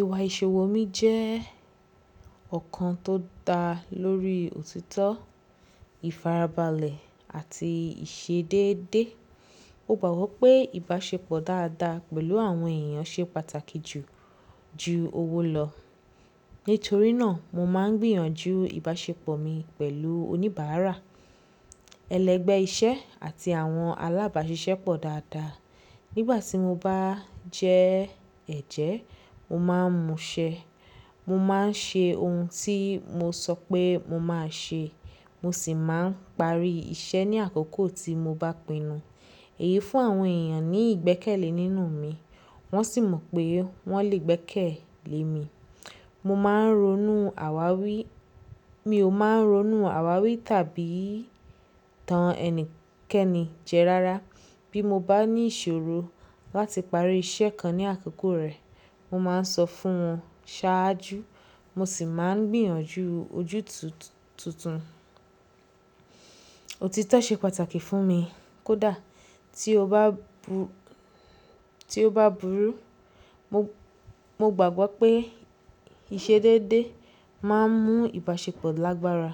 Ìwà ìṣòwò mi jẹ́ ọ̀kan tó dá lórí òtítọ́, ìfarabalẹ̀ àti ìṣedédé. Mo gbàgbọ́ pé ìbáṣepọ̀ dáadáa pẹ̀lú àwọn èèyàn ṣe pàtàkì jù ju owó lọ. Nítorí náà mo máa ń gbìyànjú ìbáṣepọ̀ mi pẹ̀lú oníbàárà, ẹlẹgbẹ́ iṣẹ́ àti àwọn alábàáṣiṣẹ́ pọ̀ dáadáa. Nígbà tí mo bá jẹ́ ẹ̀jẹ́, mo máa ń múṣẹ. Mo máa ń ṣe ohun tí mo sọ pé mo máa ṣe, mo sì máa ń parí iṣẹ́ ní àkókò tí mo bá pinnu. Èyí fún àwọn èèyàn ní ìgbẹ́kẹ̀lé nínú mi wọ́n sì mọ̀ pé wọ́n lè gbẹ́kẹ̀lé mi. Mo máa ń ronú àwáwí-- mi ò máa ń ronú àwáwí tàbí tan ẹnikẹ́ni jẹ rárá. Bí mo bá ní ìṣòro láti parí iṣẹ́ kan ní àkókò rẹ̀, mo máa ń sọ fún wọn ṣáájú mo sì máa ń gbìyànjú ojútùtù tuntun. Òtítọ́ ṣe pàtàkì fún mi kódà ti o ba tí ó bá burú. Mo, mo gbàgbọ́ pé ìṣedédé máa ń mú ìbáṣepọ̀ lágbára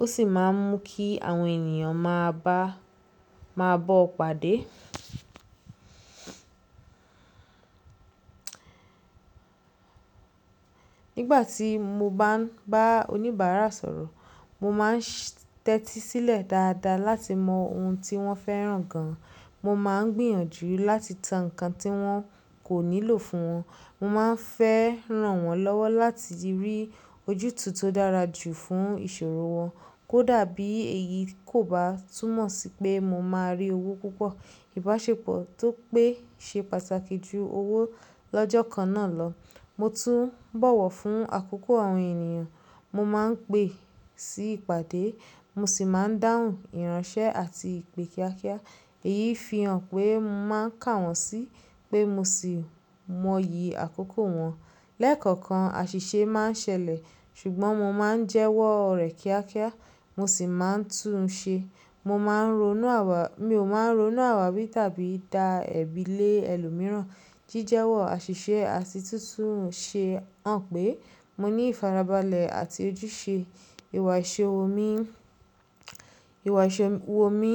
ó sì máa ń mú kí àwọn ènìyàn máa bá, máa bọ́ ọ pàdé. Nígbà tí mo bá ń bá oníbàárà sọ̀rọ̀, mo máa ń tẹ́tí sílẹ̀ dáadáa láti mọ ohun tí wọ́n fẹ́ràn gan. Mo máa ń gbìyànjú láti tan nǹkan tí wọ́n kò nílò fún wọn. Mo máa ń fẹ́ ràn wọ́n lọ́wọ́ láti rí ojútùú tó dára jù fún ìṣòro wọn. Kódà bí èyí kò bá túmọ̀ sí pé mo máa rí owó púpọ̀. Ìbáṣepọ̀ tó pé ṣe pàtàkì jù owó lọ́jọ́ kan náà lọ. Mo tún bọ̀wọ̀ fún àkókò àwọn èèyàn mo máa ń pè sí ìpàdé mo sì máa ń dáhùn ìránṣẹ́ àti ìpè kíákíá. Èyí fi hàn pé mo máa ń kà wọ́n sí pé mo sì mọyì àkókò wọn. Lẹ́ẹ̀kọ̀okan àṣìṣe máa ń ṣẹlẹ̀ ṣùgbọ́n mo máa ń jẹ́wọ́ rẹ̀ kíákíá mo sì máa ń tún un ṣe. Mo máa ń ronú àwá-- mi ò máa ń ronú àwáwí tàbí da ẹ̀bi lé ẹlòmíràn. Jíjẹ́wọ́ àṣìṣe àti túntùn ṣe hàn pé mo ní ìfarabalẹ̀ àti ojúṣe. Ìwà ìṣòwò mi, ìwà ìṣòwò mi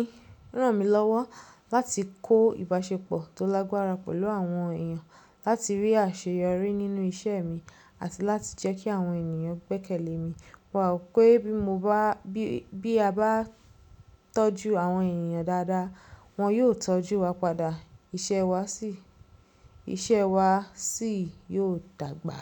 ràn mí lọ́wọ́ láti kó ìbáṣepọ̀ tó lágbára pẹ̀lú àwọn èèyàn, láti rí àṣeyọrí nínú iṣẹ́ mi àti láti jẹ́ kí àwọn èèyàn gbẹ́kẹ̀lé mi. Wa ò pé bí mo bá, bí a bá tọ́jú àwọn èèyàn dáadáa, wọ́n yóò tọ́jú wa padà, iṣẹ́ wa sì, iṣẹ́ wa sì yóò dàgbà.